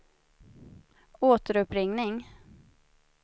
återuppringning